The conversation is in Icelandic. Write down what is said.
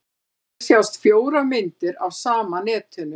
Hér sjást fjórar myndir af sama netinu.